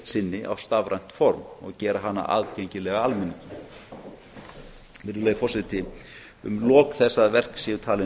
sinni á stafræn form og gera hana aðgengilega almenningi virðulegi forseti um lok þess að verk séu talin